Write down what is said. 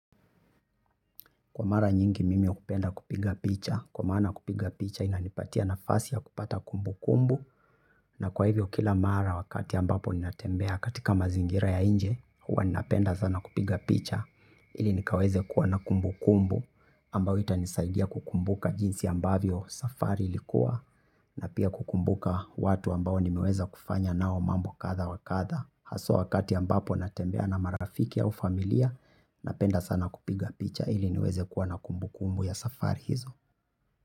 Kwa mara nyingi mimi hupenda kupiga picha, kwa maana kupiga picha inanipatia nafasi ya kupata kumbukumbu na kwa hivyo kila mara wakati ambapo ninatembea katika mazingira ya nje huwa ninapenda sana kupiga picha ili nikaweze kuwa na kumbukumbu ambayo itanisaidia kukumbuka jinsi ambavyo safari ilikuwa na pia kukumbuka watu ambao nimeweza kufanya nao mambo kadha wa kadha. Hasa wakati ambapo natembea na marafiki au familia napenda sana kupiga picha ili niweze kuwa na kumbukumbu ya safari hizo.